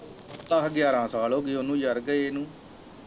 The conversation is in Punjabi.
ਦਸ ਗਿਆਰਾਂ ਸਾਲ ਹੋ ਗਏ ਉਹਨੂੰ ਯਾਰ ਗਏ ਨੂੰ।